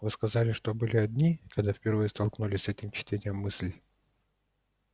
вы сказали что были одни когда впервые столкнулись с этим чтением мыслей